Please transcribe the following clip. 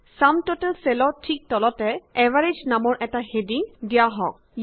sum total চেলৰ ঠিক তলতে এভাৰেজ নামৰ এটা হেডিং দিয়া যাওক